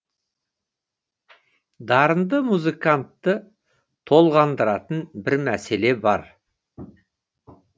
дарынды музыкантты толғандыратын бір мәселе бар